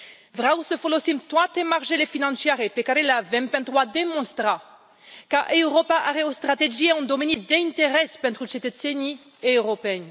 Vreau să folosim toate marjele financiare pe care le avem pentru a demonstra că Europa are o strategie în domenii de interes pentru cetățenii europeni.